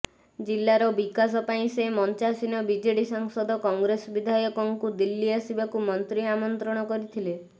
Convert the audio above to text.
ଜିଲ୍ଲାର ବିକାଶ ପାଇଁ ସେ ମଞ୍ଚାସୀନ ବିଜେଡି ସାଂସଦ କଂଗ୍ରେସ ବିଧାୟକଙ୍କୁ ଦିଲ୍ଲୀ ଆସିବାକୁ ମନ୍ତ୍ରୀ ଆମନ୍ତ୍ରଣ କରିଥିଲେ